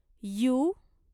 U